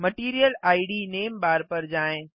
material इद नामे बार पर जाएँ